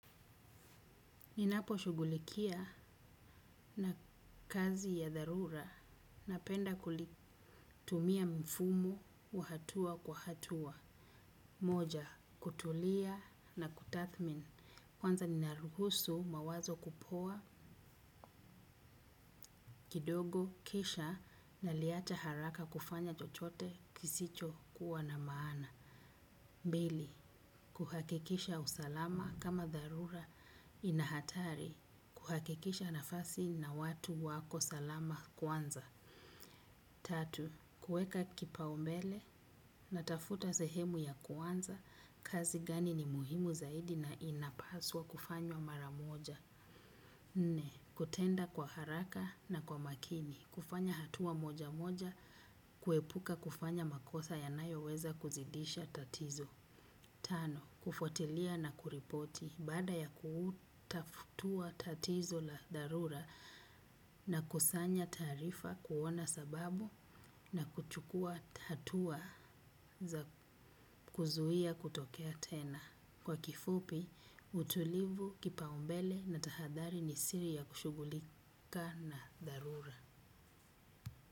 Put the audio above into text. Ninaposhughulikia kazi ya dharura napenda kutumia mfumo wa hatua kwa hatua. Moja, kutulia na kutathmin. Kwanza ni naruhusu mawazo kupoa kidogo. Kisha naliacha haraka kufanya chochote kisicho kuwa na maana. Pili, kuhakikisha usalama kama dharura inahatari kuhakikisha nafasi na watu wako salama kwanza. Tatu, kuweka kipaumbele na tafuta sehemu ya kwanza, kazi gani ni muhimu zaidi na inapaswa kufanywa maramoja. Nne, kutenda kwa haraka na kwa makini, kufanya hatua moja moja, kuepuka kufanya makosa yanayoweza kuzidisha tatizo. Tano, kufuatilia na kuripoti baada ya kutatua tatizo la dharura nakusanya taarifa kuona sababu, na kuchukua hatua za kuzuia kutokea tena. Kwa kifupi, utulivu, kipaumbele na tahadhari ni siri ya kushugulika na dharura.